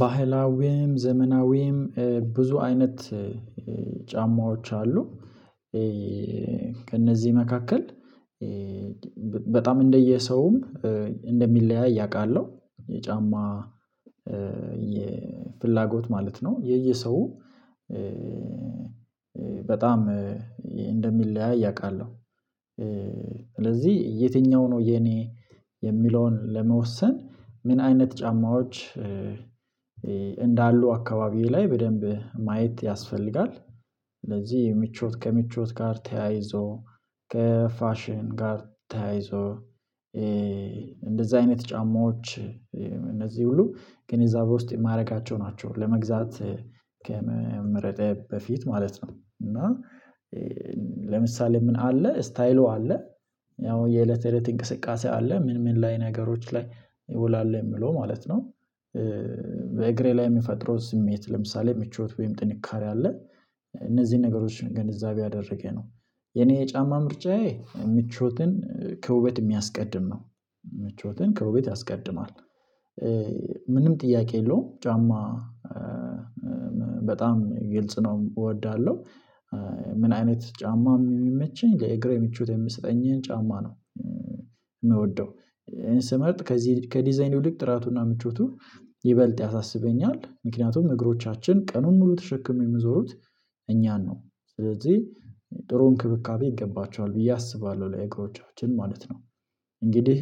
ባህላዊም ዘመናዊያም ብዙ አይነት ጫማዎች አሉ። ከእነዚህ መካከል በጣም እንደየሰውም እንደሚለያይ አቃለሁ የጫማ የፍላጎት ማለት ነው። የየሰው በጣም እንደሚለያይ አቃለሁ። ስለዚህ የትኛው ነው የኔ የሚለውን ለመወሰን ምን አይነት ጫማዎች እንዳሉ አካባቢዬ ላይ በደንብ ማየት ያስፈልጋል። ስለዚህ ምቾት ከምቾት ጋር ተያይዞ ከፋሽን ጋር ተያይዞ እንደዛ አይነት ጫማዎች እነዚህ ሁሉ ግን ግንዛቤ ውስጥ ማረጋቸው ናቸው። ለመግዛት ከመምረጤ በፊት ማለት ነው። እና ለምሳሌ ምን አለ ስታይሉ አለ ያው የእለት የእለት እንቅስቃሴ አለ ምን ምን ላይ ነገሮች ላይ ይውላል የምለው ማለት ነው። በእግሬ ላይ የሚፈጥረው ስሜት ለምሳሌ ምቾት ወይም ጥንካሬ አለ እነዚህን ነገሮችን ገንዘብ ያደረገ ነው። የኔ የጫማ ምርጫዬ ምቾትን ከውበት የሚያስቀድም ነው ምቾትን ከውበት ያስቀድማል። ምንም ጥያቄ የለውም ጫማ በጣም ግልጽ ነው እወዳለሁ። ምን አይነት ጫማም የሚመቸኝ ለእግሬ ምቾት የምሰጠኝን ጫማ ነው። የምወደው እኔ ስመርጥ ከዚህ ከዲዛይን ይውልቅ ጥራቱና ምቾቱ ይበልጥ ያሳስበኛል ምክንያቱም እግሮቻችን ቀኑን ሙሉ ተሸክመው የሚዞሩት እኛን ነው ስለዚህ ጥሩ እንክብካቤ ይገባቸዋል ብዬ አስባለሁ ለእግሮቻችን ማለት ነው። እንግዲህ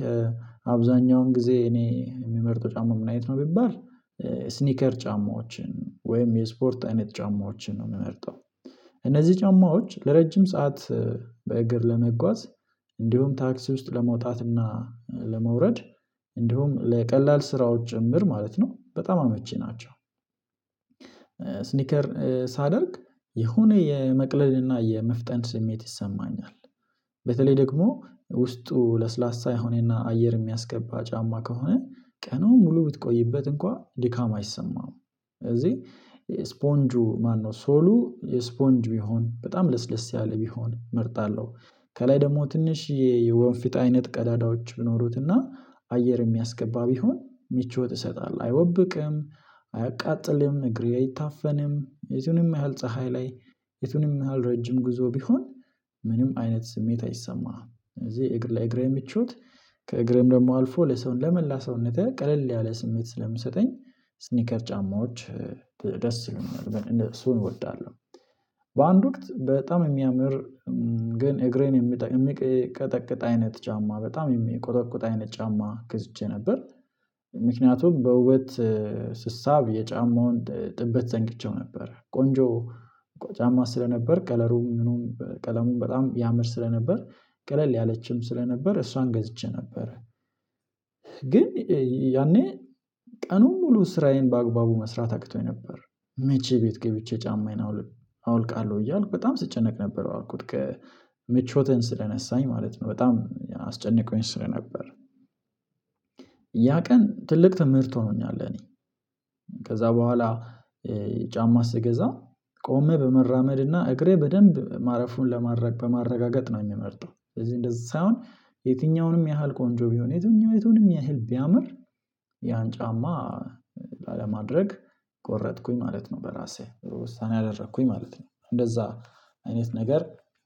አብዛኛውን ጊዜ እኔ የምመርጠው ጫማ ምን አይነት ነው ቢባል ስኒከር ጫማዎችን ወይም የስፖርት አይነት ጫማዎችን ነው የምመርጠው። እነዚህ ጫማዎች ለረጅም ሰዓት በእግር ለመጓዝ እንዲሁም ታክሲ ውስጥ ለመውጣትና ለመውረድ እንዲሁም ለቀላል ስራዎች ጭምር ማለት ነው በጣም አመቺ ናቸው። ስኒከር ሳደርግ የሆነ የመቅለልና የመፍጠን ስሜት ይሰማኛል በተለይ ደግሞ ውስጡ ለስላሳ የሆነና አየር የሚያስገባ ጫማ ከሆነ ቀኑን ሙሉ ብትቆይበት እንኳን ድካም አይሰማም። ስለዚህ ስፖንጁ ማነው ሶሉ የስፖንጁ ይሁን በጣም ለስለስ ያለ ቢሆን እመርጣለሁ። ከላይ ደግሞ ትንሽ የወንፊት አይነት ቀዳዳዎች ብኖሩትና አየር የሚያስገባ ቢሆን ምቾት እሰጣለሁ አይወብቅም አያቃጥልም እግሬ አይታፈንም የቱንም ያህል ፀሀይ ላይ የቱንም ያህል ረጅም ጉዞ ቢሆን። ምንም አይነት ስሜት አይሰማህም እዚህ እግር ላይ ለእግሬ ምቾት ከእግሬም ደግሞ አልፎ ለሰውን ለመላ ሰውነተ ቀለል ያለ ስሜት ስለምሰጠኝ ስኒከር ጫማዎች ደስ ይሉኛል እሱን እወዳለሁ። በአንድ ወቅት በጣም የሚያምር ግን እግሬን የሚቀጠቅጥ አይነት ጫማ በጣም የሚቆጠቁጥ አይነት ጫማ ገዝቼ ነበር። ምክንያቱም በውበት ስሳብ የጫማውን ጥበት ዘንግቼው ነበር ቆንጆ ጫማ ስለነበር ከለሩም ምኑም በጣም ያምር ስለነበር ቀለል ያለችም ስለነበር እሷን ገዝቼ ነበረ። ግን ያኔ ቀኑን ሙሉ ስራዬን በአግባቡ መስራት አቅቶኝ ነበር መቼ ቤት ገብቼ ጫማዬን አወልቃለሁ እያልኩ በጣም ስጨነቅ ነበር አልኩት ምቾቴን ስለነሳኝ ማለት ነው በጣም አስጨንቆኝ ስለነበር። ያ ቀን ትልቅ ትምህርት ሆኖኛል ለእኔ። ከዛ በኋላ ጫማ ስገዛ ቆሜ በመራመድና እግሬ በደንብ ማረፉን ለማረግ በማረጋገጥ ነው የምመርጠው ስለዚህ እንደዚህ ሳይሆን የትኛውንም ያህል ቆንጆ ቢሆን የትኛውንም የቱንም ያህል ቢያምር ያን ጫማ ላለማድረግ ቆረጥኩኝ ማለት ነው በራሴ ውሳኔ አደረኩኝ ማለት ነው። እንደዛ አይነት ነገር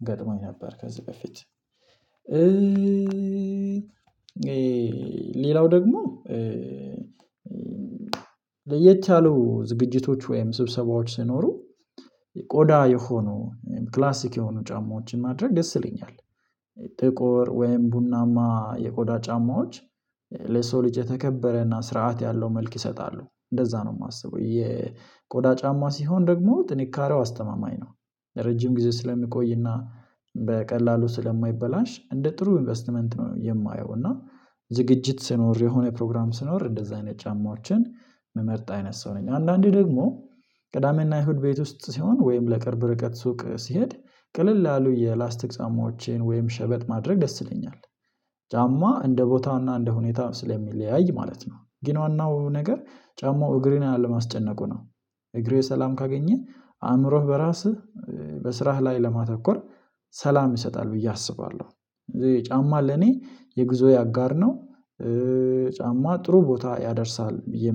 ገጥሞኝ ነበር ከዚህ በፊት ሌላው ደግሞ ለየት ያሉ ዝግጅቶች ወይም ስብሰባዎች ሲኖሩ ቆዳ የሆኑ ክላሲክ የሆኑ ጫማዎችን ማድረግ ይስለኛል። ጥቁር ወይም ቡናማ የቆዳ ጫማዎች ለሰው ልጅ የተከበረና ስርዓት ያለው መልክ ይሰጣሉ እንደዛ ነው የማስበው የቆዳ ጫማ ሲሆን ደግሞ ጥንካሬው አስተማማኝ ነው ለረጅም ጊዜ ስለሚቆይና በቀላሉ ስለማይበላሽ እንደ ጥሩ ኢንቨስትመንት ነው የማየው። እና ዝግጅት ስኖር የሆነ ፕሮግራም ስኖር እንደዛ አይነት ጫማዎችን ምመርጥ አይነት ሰው ነኝ። አንዳንዴ ደግሞ ቅዳሜና ኢሁድ ቤት ውስጥ ሲሆን ወይም ለቅርብ ርቀት ሱቅ ሲሄድ ቅልል ያሉ የላስቲክ ጫማወቼን ወይም ሸበት ማድረግ ደስ ይለኛል። ጫማ እንደ ቦታውና እንደ ሁኔታ ስለሚለያይ ማለት ነው ጊን ዋናው ነገር ጫማው እግሬን አለ ማስጨነቁ ነው። እግሬ ሰላም ካገኘህ አእምሮህ በራስህ በስራህ ላይ ለማተኮር ሰላም ይሰጣል ብዬ አስባለሁ። ጫማ ለኔ የጉዞየ አጋር ነው። ጫማ ጥሩ ቦታ ያደርሳል ብየ